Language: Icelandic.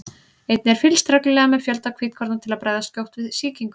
Einnig er fylgst reglulega með fjölda hvítkorna til að bregðast skjótt við sýkingum.